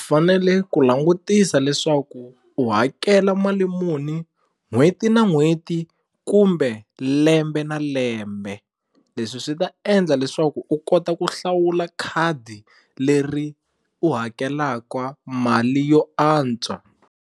Fanele ku langutisa leswaku u hakela mali muni n'hweti na n'hweti kumbe lembe na lembe leswi swi ta endla leswaku u kota ku hlawula khadi leri u hakelaka mali yo antswa.